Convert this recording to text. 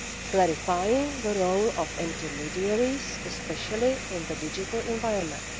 clarifying the role of intermediaries, especially in the digital environment